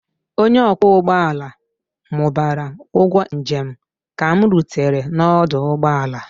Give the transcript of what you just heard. onye ọkwọ ụgbọ ala mụbara ụgwọ njem ka m rutere n'ọdụ ụgbọ ala